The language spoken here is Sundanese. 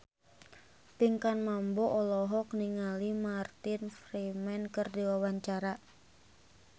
Pinkan Mambo olohok ningali Martin Freeman keur diwawancara